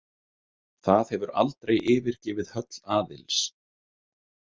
Það hefur aldrei yfirgefið höll Aðils.